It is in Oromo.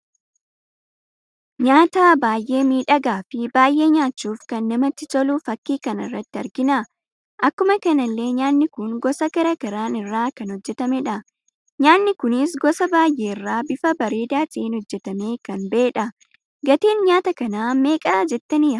Nyaata baay'ee miidhagaa fi baay'ee nyachuuf kan namatti tolu fakkii kanarra argina. Akkuma kanallee nyaanni kun gosa garaagaraa irraa kan hojjetamedha. nyaanni kunis gosa baay'ee irra bifa bareeda ta'en hojjetame kan ba'edha. Gatiin nyaata kana meeqadha jettani yaaddu?